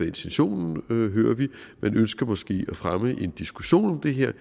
intentionen hører vi man ønsker måske at fremme en diskussion om det her